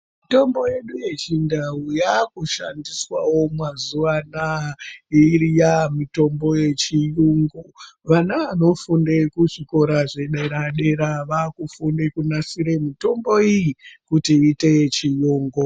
Mitombo yedu ye chindau yaku shandiswawo mazuva anaya iya mitombo ye chiyungu vana vano funde ku zvikora zve dera dera vakufunde kunasire mitombo iyi kuti iiyite ye chirungu.